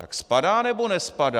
Tak spadá, nebo nespadá?